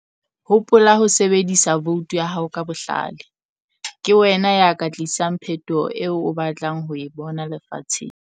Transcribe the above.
Hopola ho sebedisa voutu ya hao ka bohlale - ke wena ya ka tlisang phetoho eo o batlang ho e bona lefatsheng.